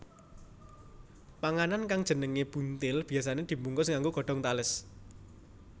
Panganan kang jenengé buntil biyasané dibungkus nganggo godhong tales